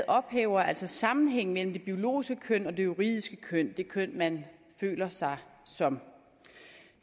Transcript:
ophæver altså sammenhængen mellem det biologiske køn og det juridiske køn det køn man føler sig som